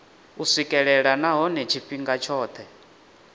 u swikelelwa nahone tshifhinga tshothe